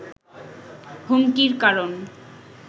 হুমকির কারণ